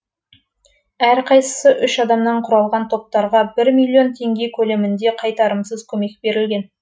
әрқайсысы үш адамнан құралған топтарға бір миллион теңге көлемінде қайтарымсыз көмек берілген